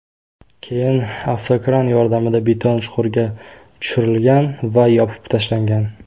Keyin avtokran yordamida beton chuqurga tushirlgan va yopib tashlangan.